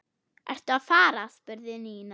Ertu að fara? spurði Nína.